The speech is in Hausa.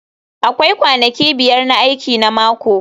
Akwai kwanaki biyar na aiki na mako